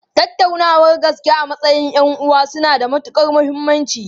Tattaunawar gaske a matsayin 'yan'uwa suna da matukar muhimmanci.